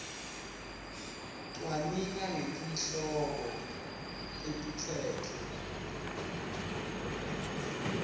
cwaninga ngetihloko letitsetfwe